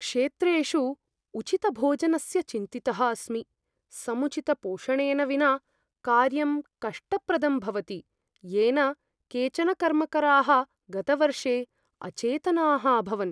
क्षेत्रेषु उचितभोजनस्य चिन्तितः अस्मि। समुचितपोषणेन विना कार्यं कष्टप्रदं भवति, येन केचन कर्मकराः गतवर्षे अचेतनाः अभवन्।